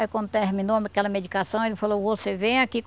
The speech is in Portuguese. Aí, quando terminou aquela medicação, ele falou, você vem aqui.